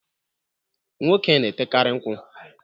Nwoke na-etekari nkwụ.